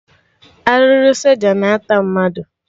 Arụrụ soja na ata mmadụ